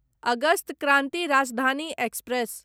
August Kranti Rajdhani express